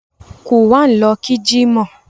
Quwan lọ kí jímọ̀